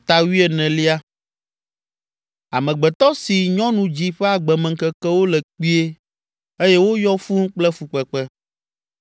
“Amegbetɔ si nyɔnu dzi ƒe agbemeŋkekewo le kpuie eye woyɔ fũu kple fukpekpe.